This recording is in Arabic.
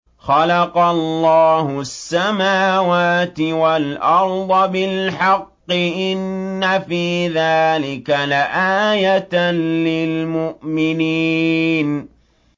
خَلَقَ اللَّهُ السَّمَاوَاتِ وَالْأَرْضَ بِالْحَقِّ ۚ إِنَّ فِي ذَٰلِكَ لَآيَةً لِّلْمُؤْمِنِينَ